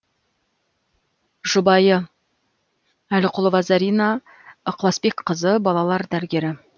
жұбайы әліқұлова зарина ықыласбекқызы балалар дәрігері